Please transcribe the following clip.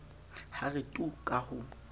ha re tu ka ho